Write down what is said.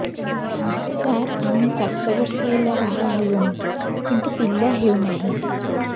ସାର ଆମେ ସାତ ବର୍ଷ ହେଲା ବାହା ହେଲୁଣି କିନ୍ତୁ ପିଲା ହେଉନାହିଁ